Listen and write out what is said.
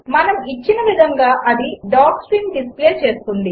మనము ఇచ్చిన విధంగా అది డాక్స్ట్రింగ్ డిస్ప్లే చేస్తుంది